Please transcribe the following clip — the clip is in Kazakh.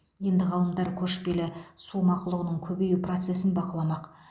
енді ғалымдар көшпелі су мақұлығының көбею процесін бақыламақ